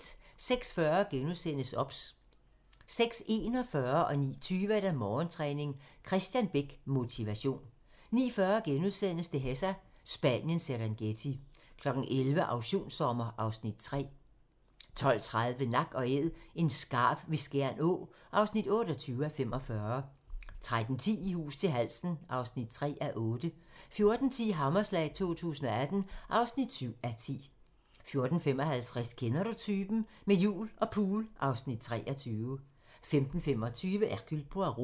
06:40: OBS * 06:41: Morgentræning: Kristian Bech - Motivation 09:20: Morgentræning: Kristian Bech - Motivation 09:40: Dehesa - Spaniens Serengeti * 11:00: Auktionssommer (Afs. 3) 12:30: Nak & Æd - en skarv ved Skjern Å (28:45) 13:10: I hus til halsen (3:8) 14:10: Hammerslag 2018 (7:10) 14:55: Kender du typen? - Med jul og pool (Afs. 23) 15:25: Hercule Poirot